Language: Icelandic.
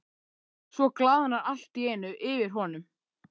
Svo glaðnar allt í einu yfir honum.